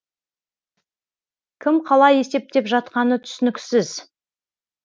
кім қалай есептеп жатқаны түсініксіз